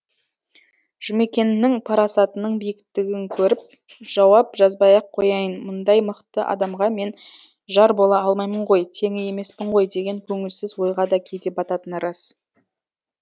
жұмекеннің парасатының биіктігін көріп жауап жазбай ақ қояйын мұндай мықты адамға мен жар бола алмаймын ғой теңі емеспін ғой деген көңілсіз ойға да кейде бататыны рас